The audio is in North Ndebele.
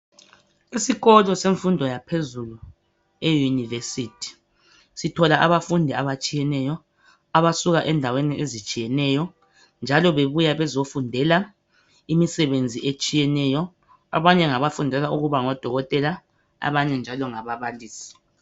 Isikolo semfundo yaphezulu e univesithi sithola abafundi abatshiyeneyo abasuka endaweni ezitshiyeneyo njalo bebuya ukuzofundela imisebenzi etshiyeneyo abanye ngabafundela ukuba ngodokotela abanye ngababalisi.